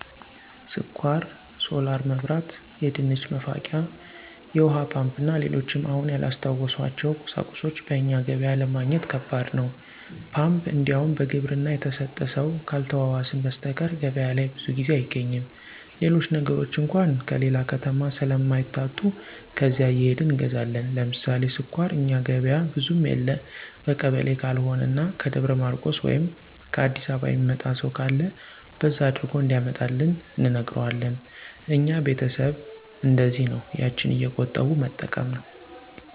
ስኳር፣ ሶላር መብራት፣ የድንች መፋቂያ፣ የውሀ ፓምፕ እና ሌሎችም አሁን ያላስታወስኋቸው ቁሳቁሶች በእኛ ገበያ ለማግኘት ከባድ ነው። ፓምፕ እንዲያውም በግብርና የተሰጠ ሰው ካልተዋዋስን በሰተቀር ገበያ ላይ ብዙ ጊዜ አይገኝም። ሌሎች ነገሮች አንኳ ከሌላ ከተማ ስለማይታጡ ከዚያ እየሄድን እንገዛለን። ለምሳሌ ስኳር እኛ ገበያ ብዙም የለ በቀበሌ ካልሆነ እና ከደብረ ማርቆስ ወይም ከ አዲስ አበባ የሚመጣ ሰው ካለ በዛ አድርጎ እንዲያመጣልን እንነግረዋለን። እኛ ቤተሰብ እነደዚያ ነው ያችን እየቆጠቡ መጠቀም ነው።